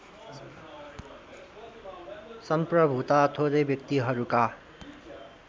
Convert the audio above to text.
संप्रभुता थोरै व्यक्तिहरूका